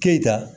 Keyita